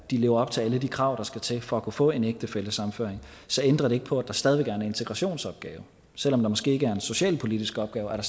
de lever op til alle de krav der skal til for at kunne få en ægtefællesammenføring så ændrer ikke på at der stadig er en integrationsopgave selv om der måske ikke er en socialpolitisk opgave er